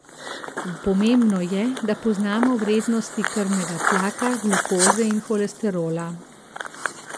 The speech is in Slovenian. Pomembno je, da poznamo vrednosti krvnega tlaka, glukoze in holesterola.